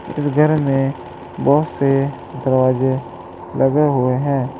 इस घर में बहुत से दरवाजे लगे हुए हैं।